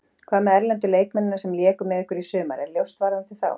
Hvað með erlendu leikmennina sem léku með ykkur í sumar, er ljóst varðandi þá?